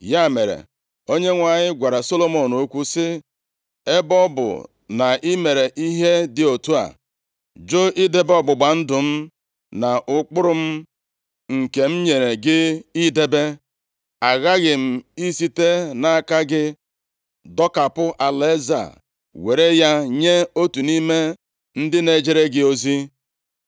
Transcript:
Ya mere, Onyenwe anyị gwara Solomọn okwu sị, “Ebe ọ bụ na i mere ihe dị otu a, jụ idebe ọgbụgba ndụ m na ụkpụrụ m, nke m nyere gị idebe, aghaghị m isite nʼaka gị dọkapụ alaeze a, were ya nye otu nʼime ndị na-ejere gị ozi.